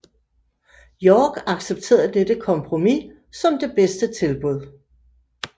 York accepterede dette kompromis som det bedste tilbud